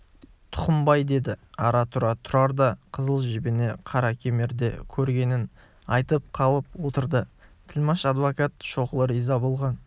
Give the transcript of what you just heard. тұқымбай деді ара-тұра тұрар да қызыл жебені қаракемерде көргенін айтып қалып отырды тілмаш-адвокат шоқұлы риза болған